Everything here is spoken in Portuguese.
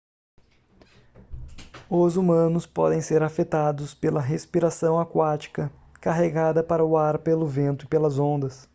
os humanos podem ser afetados pela respiração aquática carregada para o ar pelo vento e pelas ondas